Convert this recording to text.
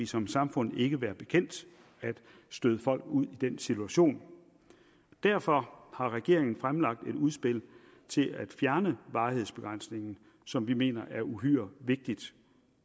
som samfund ikke være bekendt at støde folk ud i den situation derfor har regeringen fremlagt et udspil til at fjerne varighedsbegrænsningen som vi mener er uhyre vigtigt